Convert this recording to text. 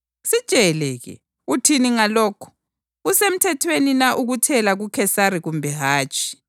Sitshele-ke, uthini ngalokhu? Kusemthethweni na ukuthela kuKhesari kumbe hatshi?”